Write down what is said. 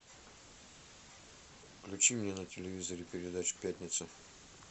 включи мне на телевизоре передачу пятница